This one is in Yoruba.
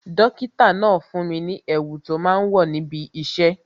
Dókítà náà fún mi ní èwù tó máa ń wò níbi isẹ